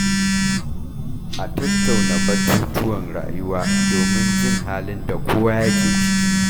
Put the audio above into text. A tattauna batutuwan rayuwa domin jin halin da kowa yake ciki.